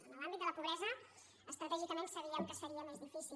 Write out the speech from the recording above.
en l’àmbit de la pobresa estratègicament sabíem que seria més difícil